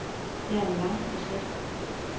Det er en lang proces.